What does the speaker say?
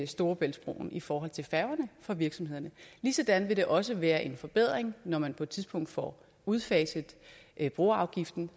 storebæltsbroen i forhold til færgerne for virksomhederne ligesådan vil det også være en forbedring når man på et tidspunkt får udfaset broafgiften